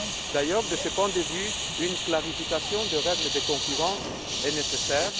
D'ailleurs, de ce point de vue, une clarification des règles de concurrence est nécessaire.